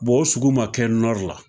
o sugu ma kɛ la.